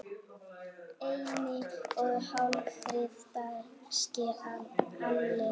einni og hálfri danskri alin